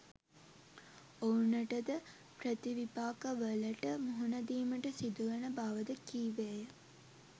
ඔවුනට ද ප්‍රතිවිපාකවලට මුහුණ දීමට සිදුවන බව ද කීවේය.